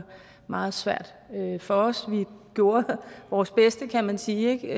meget svært for os vi gjorde vores bedste kan man sige